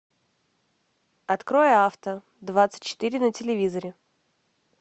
открой авто двадцать четыре на телевизоре